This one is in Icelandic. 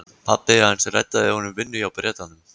Pabbi hans reddaði honum vinnu hjá Bretanum.